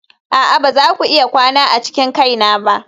a'a ba za ku iya kwana a cikin kaina ba.